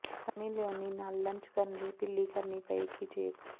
Sunny Leone ਨਾਲ lunch ਕਰਨ ਲਈ ਢਿੱਲੀ ਕਰਨੀ ਪਏਗੀ ਜੇਬ